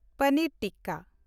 ᱯᱚᱱᱤᱨ tikka